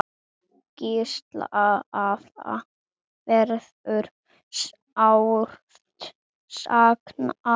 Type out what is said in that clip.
Gísla afa verður sárt saknað.